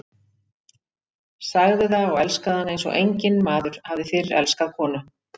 Sagði það og elskaði hana eins og enginn maður hafði fyrr elskað konu.